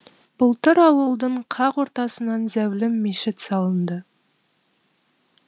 былтыр ауылдың қақ ортасынан зәулім мешіт салынды